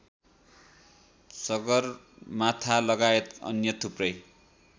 सगरमाथालगायत अन्य थुप्रै